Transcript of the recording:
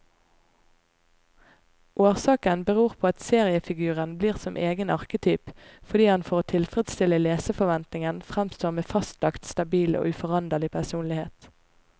Årsaken beror på at seriefiguren blir som egen arketyp, fordi han for å tilfredstille leserforventningen framstår med fastlagt, stabil og uforanderlig personlighet.